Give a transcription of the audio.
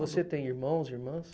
E você tem irmãos, irmãs?